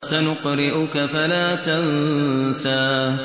سَنُقْرِئُكَ فَلَا تَنسَىٰ